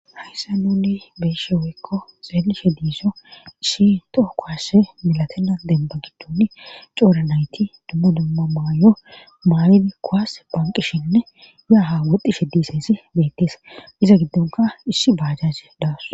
Hayssa nuni be'ishe woykko xeelishe diiso isshi toho kowase milatena demba giddun coora nayti dummo dumma maayo maayidi kowas phanqishinne yaaha woxdishe diisesi beettees iza giddonka issi baajjaji dawus.